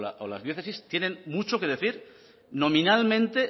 deusto o las diócesis tienen mucho que decir nominalmente